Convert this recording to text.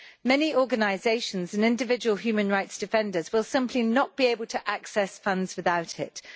Many organisations and individual human rights defenders will simply not be able to access funds without it.